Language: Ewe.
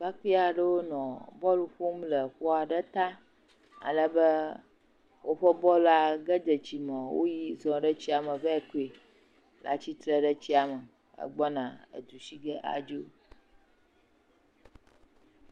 Ɖekakpui aɖewo nɔ bɔl ƒom le kpo aɖe ta ale be, woƒe bɔl la ge dze tsi me woyi zɔ ɖe tsia me vae ko. Atsitre ɖe tsia me egbɔna edu si ge adzo.